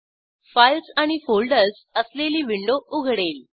files आणि folders असलेली window उघडेल